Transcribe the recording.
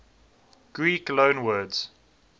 greek loanwords